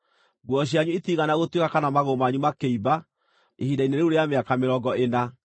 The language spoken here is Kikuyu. Nguo cianyu itiigana gũtuĩka kana magũrũ manyu makĩimba ihinda-inĩ rĩu rĩa mĩaka mĩrongo ĩna.